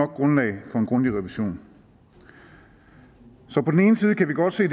grundlag for en grundig revision så på den ene side kan vi godt se